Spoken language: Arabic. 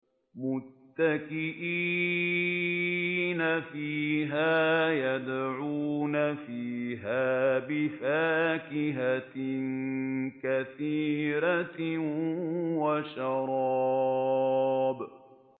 مُتَّكِئِينَ فِيهَا يَدْعُونَ فِيهَا بِفَاكِهَةٍ كَثِيرَةٍ وَشَرَابٍ